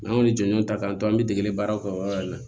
N'an y'olu jɔnjɔn ta k'an to an bɛ degeli baaraw kɛ o yɔrɔ in na